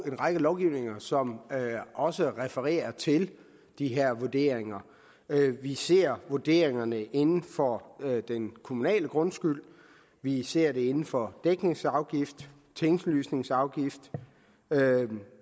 en række lovgivninger som også refererer til de her vurderinger vi ser vurderingerne inden for den kommunale grundskyld vi ser dem inden for dækningsafgift tinglysningsafgift